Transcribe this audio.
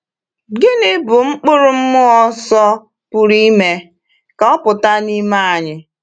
Gịnị bụ mkpụrụ mmụọ Nsọ pụrụ ime ka ọ pụta n’ime anyị?